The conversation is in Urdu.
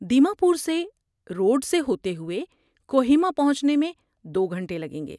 دیماپور سے، روڈ سے ہوتے ہوئے، کوہیما پہنچنے میں دو گھنٹے لگیں گے